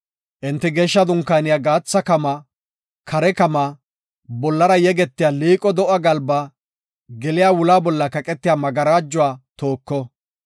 enti Geeshsha Dunkaaniya gaatha kamaa, kare kamaa, bollara yegetiya liiqo do7a galba, geliya wula bolla kaqetiya magarajuwa tooko.